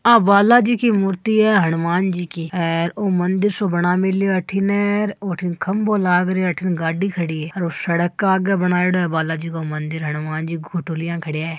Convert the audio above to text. आ बालाजी की मूर्ति है हनुमान जी की ओ मंदिर सो बणा मेल्यो अठीने और ओ अट्ठिन खम्बो लाग रयो है अट्ठिन गाडी खड़ी है और ओ सड़क के आगे बनायेड़ो है बालाजी को मंदिर हनुमान जी घोटो लियां खड़या है।